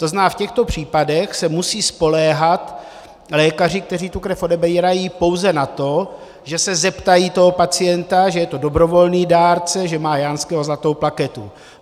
To znamená, v těchto případech se musí spoléhat lékaři, kteří tu krev odebírají, pouze na to, že se zeptají toho pacienta, že je to dobrovolný dárce, že má Janského zlatou plaketu.